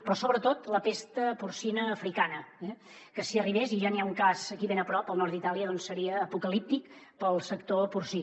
però sobretot la pesta porcina africana que si arribés i ja n’hi ha un cas aquí ben a prop al nord d’itàlia seria apocalíptic per al sector porcí